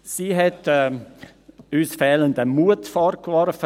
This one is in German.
Sie hat uns fehlenden Mut vorgeworfen.